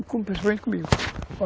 E comigo.